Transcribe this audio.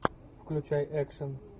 включай экшн